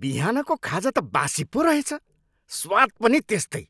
बिहानको खाजा त बासी पो रहेछ। स्वाद पनि त्यस्तै।